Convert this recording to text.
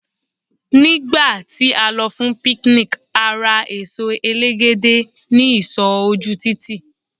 ní gba ti a lọ fún picnic a ra eso elegede ni isọ oku titi